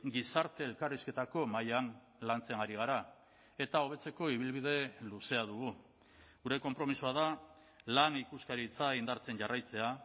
gizarte elkarrizketako mahaian lantzen ari gara eta hobetzeko ibilbide luzea dugu gure konpromisoa da lan ikuskaritza indartzen jarraitzea